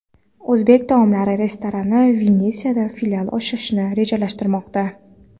O‘zbek taomlari restorani Venetsiyada filial ochishni rejalashtirmoqda .